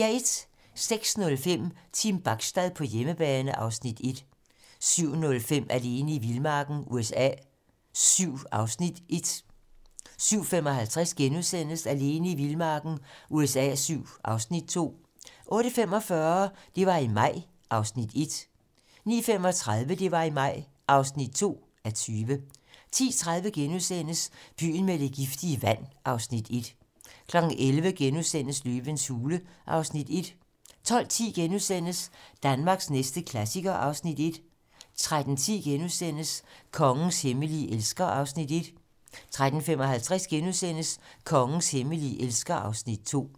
06:05: Team Bachstad på hjemmebane (Afs. 1) 07:05: Alene i vildmarken USA VII (Afs. 1)* 07:55: Alene i vildmarken USA VII (Afs. 2)* 08:45: Det var i maj (1:20) 09:35: Det var i maj (2:20) 10:30: Byen med det giftige vand (Afs. 1)* 11:00: Løvens hule (Afs. 1)* 12:10: Danmarks næste klassiker (Afs. 1)* 13:10: Kongens hemmelige elsker (Afs. 1)* 13:55: Kongens hemmelige elsker (Afs. 2)*